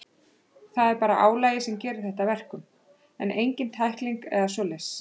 Það er bara álagið sem gerir þetta að verkum, en engin tækling eða svoleiðis.